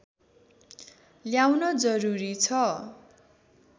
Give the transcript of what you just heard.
ल्याउन जरुरी छ